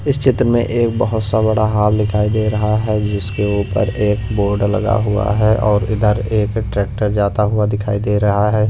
इस चित्र में एक बहुत सा बड़ा हॉल दिखाई दे रहा है जिसके ऊपर एक बोर्ड लगा हुआ है और इधर एक ट्रैक्टर जाता हुआ दिखाई दे रहा है।